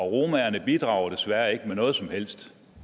romaerne bidrager desværre ikke med noget som helst